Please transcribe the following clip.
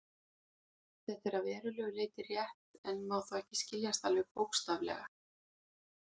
Þetta er að verulegu leyti rétt, en má þó ekki skiljast alveg bókstaflega.